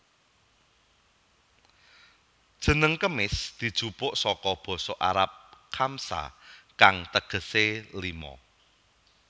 Jeneng kemis dijupuk saka basa Arab khamsa kang tegesé lima